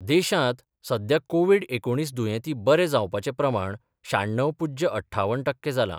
देशांत सध्या कोवीड एकुणील दुयेंती बरे जावपाचे प्रमाण शाण्णव पुज्य अठ्ठावन टक्के जालां.